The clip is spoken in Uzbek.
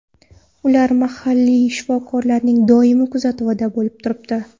Ular mahalliy shifokorlarning doimiy kuzatuvida bo‘lib turibdi.